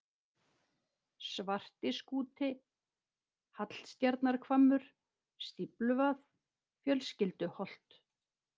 Svartiskúti, Hallstjarnarhvammur, Stífluvað, Fjölskylduholt